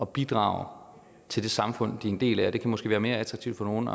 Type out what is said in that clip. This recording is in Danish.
bidrage til det samfund de er en del af og det kan måske være mere attraktivt for nogle